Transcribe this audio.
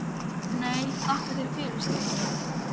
Þessi listaverk tali heilnæmt, nýtt og hlýtt mál.